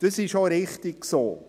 Dies ist auch richtig so.